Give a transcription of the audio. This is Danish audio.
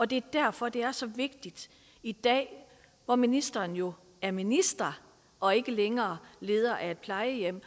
det er derfor det er så vigtigt i dag hvor ministeren jo er minister og ikke længere leder af et plejehjem